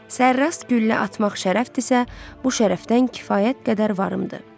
Sərras güllə atmaq şərəfdirsə, bu şərəfdən kifayət qədər varımdır.